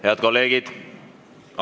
Head kolleegid!